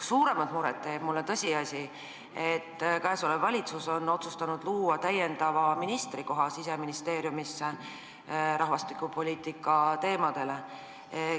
Suuremat muret teeb mulle tõsiasi, et valitsus on otsustanud luua Siseministeeriumisse täiendava ministrikoha rahvastikupoliitika teemadega tegelemiseks.